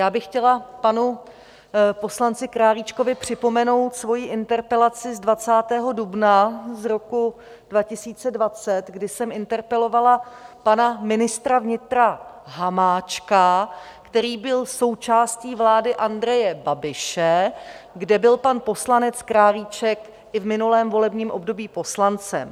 Já bych chtěla panu poslanci Králíčkovi připomenout svoji interpelaci z 20. dubna z roku 2020, kdy jsem interpelovala pana ministra vnitra Hamáčka, který byl součástí vlády Andreje Babiše, kde byl pan poslanec Králíček i v minulém volebním období poslancem.